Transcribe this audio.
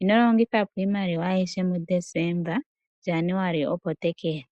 Ino longitha po iimaliwa ayihe muDesemba molwaashoka opu na Januali."